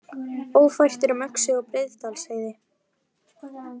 Ófært er um Öxi og Breiðdalsheiði